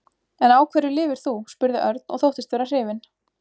En á hverju lifir þú? spurði Örn og þóttist vera hrifinn.